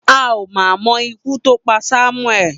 A ò mà mo̩ ikú tó pa Samueli.